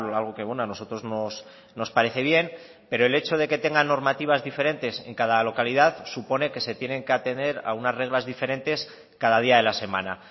algo que a nosotros nos parece bien pero el hecho de que tengan normativas diferentes en cada localidad supone que se tienen que atener a unas reglas diferentes cada día de la semana